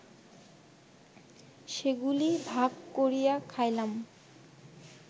সেগুলি ভাগ করিয়া খাইলাম